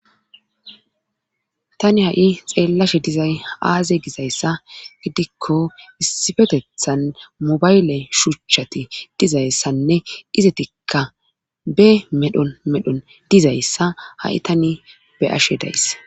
Tani ha7i xeellashe dizay aaze gizayssa gidikko issifetethan mobayle shuchati dizayssanne izetikka be medhon medhon dizayssa ha7i tani be ashe days